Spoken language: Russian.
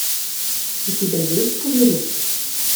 у тебя есть пузыри